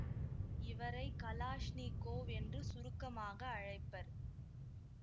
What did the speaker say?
இவரை கலாஷ்னிக்கோவ் என்று சுருக்கமாக அழைப்பர்